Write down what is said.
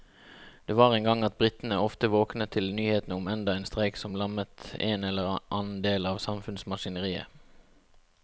Det var en gang at britene ofte våknet til nyhetene om enda en streik som lammet en eller annen del av samfunnsmaskineriet.